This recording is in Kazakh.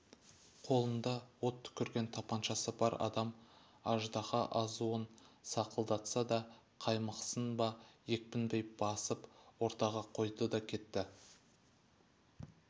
қолында от түкірген тапаншасы бар адам аждаһа азуын сақылдатса да қаймықсын ба екпіндей басып ортаға қойды да кетті